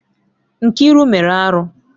Nkiru mere arụ.